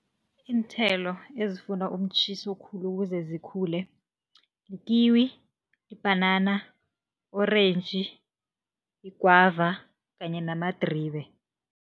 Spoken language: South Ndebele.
Iinthelo ezifuna umtjhiso khulu ukuze zikhule, ikiwi, ibhanana, orentji, igwava kanye namadribe.